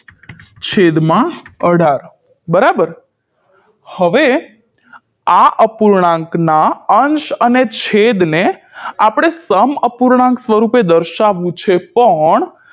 છેદમાં અઢાર બરાબર હવે આ અપૂર્ણાંકના અંશ અને છેદને આપણે સમઅપૂર્ણાંક સ્વરુપે દર્શાવવું છે પણ